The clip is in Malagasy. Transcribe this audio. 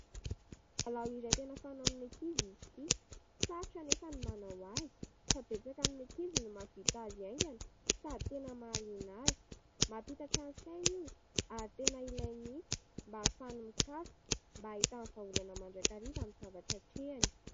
Lalao izay tena fanaon'ny ankizy izy ity. Sarotra anefa ny manao azy fa betsaka amin'ny ankizy no mahavita azy haingana sady tena mahaliana azy. Mampitatra ny sainy io ary tena ilainy mihitsy mba ahafahan'ny mikaroka mba hahitany vahaolana mandrakariva amin'ny zavatra hatrehany.